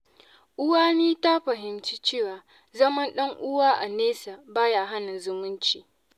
Uwani ta fahimci cewa zaman ɗan’uwa a nesa ba ya hana zumunci.